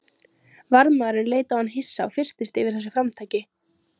Varðmaðurinn leit á hann hissa og fyrtist yfir þessu framtaki.